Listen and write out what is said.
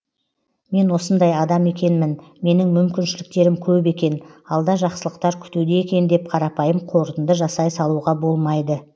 мен осындай адам екенмін менің мүмкіншіліктерім көп екен алда жақсылықтар күтуде екен деп қарапайым қорытынды жасай салуға болмайды